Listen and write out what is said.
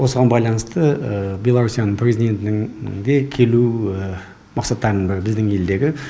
осыған байланысты беларусияның президентінің де келу мақсаттарының бірі біздің елдегі